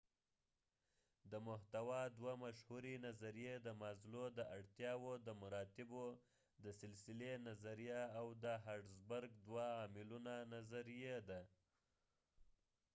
د محتوا دوه مشهورې نظریې د مازلو د اړتیاوو د مراتبو د سلسلې نظریه او د هرټزبرګ دوه عاملونو نظریه دي